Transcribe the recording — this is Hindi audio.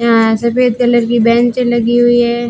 यहां सफेद कलर की बेंच लगी हुई है।